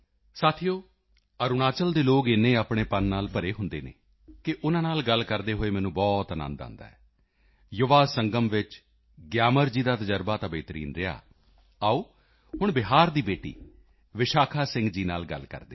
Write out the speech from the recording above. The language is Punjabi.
ਸਾਥੀਓ ਅਰੁਣਾਚਲ ਦੇ ਲੋਕ ਇੰਨੇ ਆਪਣੇਪਨ ਨਾਲ ਭਰੇ ਹੁੰਦੇ ਹਨ ਕਿ ਉਨ੍ਹਾਂ ਨਾਲ ਗੱਲ ਕਰਦੇ ਹੋਏ ਮੈਨੂੰ ਬਹੁਤ ਅਨੰਦ ਆਉਂਦਾ ਹੈ ਯੁਵਾ ਸੰਗਮ ਵਿੱਚ ਗਿਆਮਰ ਜੀ ਦਾ ਤਜ਼ਰਬਾ ਤਾਂ ਬੇਹਤਰੀਨ ਰਿਹਾ ਆਓ ਹੁਣ ਬਿਹਾਰ ਦੀ ਬੇਟੀ ਵਿਸ਼ਾਖਾ ਸਿੰਘ ਜੀ ਨਾਲ ਗੱਲ ਕਰਦੇ ਹਾਂ